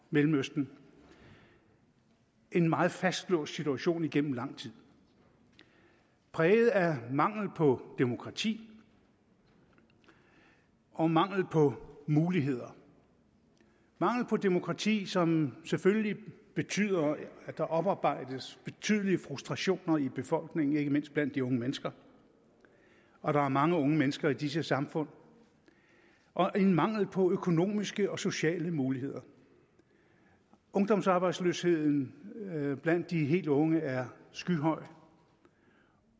mellemøsten en meget fastlåst situation igennem lang tid præget af mangel på demokrati og mangel på muligheder mangel på demokrati som selvfølgelig betyder at der oparbejdes betydelige frustrationer i befolkningen ikke mindst blandt de unge mennesker og der er mange unge mennesker i disse samfund og en mangel på økonomiske og sociale muligheder ungdomsarbejdsløsheden blandt de helt unge er skyhøj